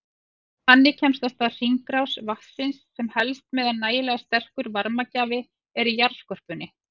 Þannig kemst af stað hringrás vatnsins sem helst meðan nægilega sterkur varmagjafi er í jarðskorpunni.